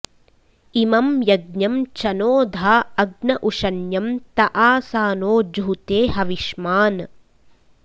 इ॒मं य॒ज्ञं चनो॑ धा अग्न उ॒शन्यं त॑ आसा॒नो जु॑हु॒ते ह॒विष्मा॑न्